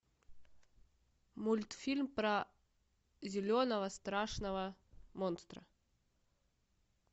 мультфильм про зеленого страшного монстра